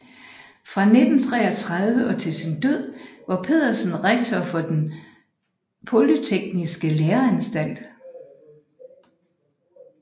Fra 1933 og til sin død var Pedersen rektor for Den Polytekniske Læreanstalt